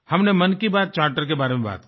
हमने मन की बात चार्टर के बारे में बात की